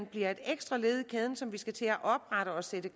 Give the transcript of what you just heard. bliver et ekstra led i kæden som vi skal til at oprette og sætte